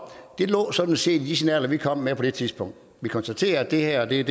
det lå sådan set i de signaler vi kom med på det tidspunkt vi konstaterer at det her er det